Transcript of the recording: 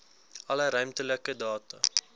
alle ruimtelike data